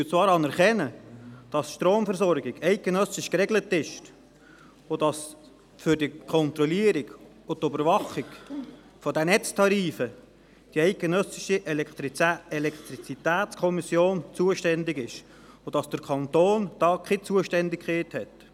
Wir anerkennen zwar, dass die Stromversorgung eidgenössisch geregelt ist, dass für die Kontrolle und die Überwachung der Netztarife die ElCom zuständig ist und dass der Kanton dort keine Zuständigkeit hat.